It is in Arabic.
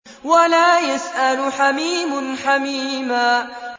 وَلَا يَسْأَلُ حَمِيمٌ حَمِيمًا